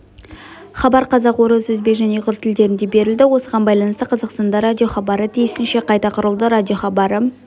хабар қазақ орыс өзбек және ұйғыр тілдерінде берілді осыған байланысты қазақстанда радиохабары тиісінше қайта құрылды радиохабары